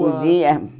Podia.